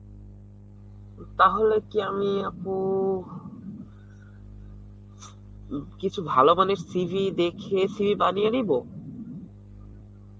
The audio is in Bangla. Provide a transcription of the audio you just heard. তাহলে কি আমি আপু, উ কিছু ভালো মানের CV দেখে CV বানিয়ে নিব?